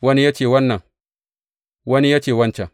Wani ya ce wannan, wani ya ce wancan.